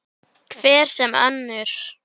Pabbi, við komumst út!